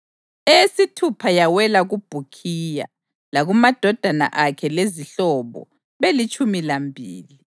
eyesithupha yawela kuBhukhiya, lakumadodana akhe lezihlobo, belitshumi lambili;